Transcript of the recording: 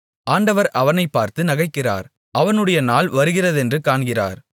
ஆண்டவர் அவனைப் பார்த்து நகைக்கிறார் அவனுடைய நாள் வருகிறதென்று காண்கிறார்